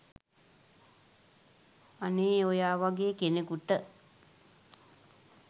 අනේ ඔයා වගේ කෙනෙකුට